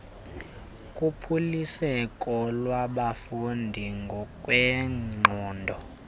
kuphuliseko lwabafundi ngokwengqondo